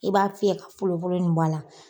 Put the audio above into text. I b'a fiyɛ k folofolo nin bɔ a la